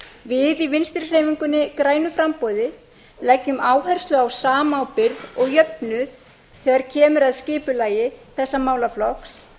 við í vinstri hreyfingunni grænu framboði leggjum áherslu á samábyrgð og jöfnuð þegar kemur að skipulagi þessa málaflokks